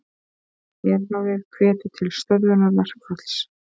Herráðið hvetur til stöðvunar verkfalls